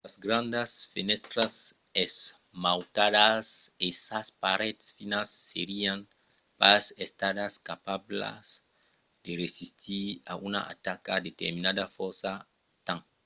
sas grandas fenèstras esmautadas e sas parets finas serián pas estadas capablas de resistir a una ataca determinada fòrça temps